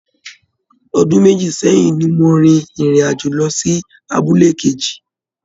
Ọdún méjì sẹ́yìn ni mo rin ìrìn àjò lọ sí abúlé kejì